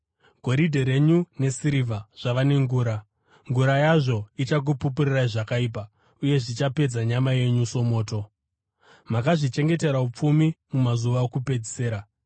Goridhe renyu nesirivha zvava nengura. Ngura yazvo ichakupupurirai zvakaipa uye zvichapedza nyama yenyu somoto. Makazvichengetera upfumi mumazuva okupedzisira.